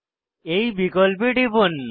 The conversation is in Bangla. এই বিকল্পে টিপুন